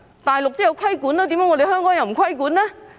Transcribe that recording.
大陸對此也有規管，為何香港卻沒有規管呢？